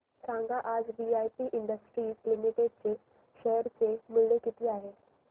सांगा आज VIP industries limited चे शेअर चे मूल्य किती आहे